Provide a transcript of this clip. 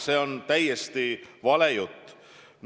See on täiesti vale jutt.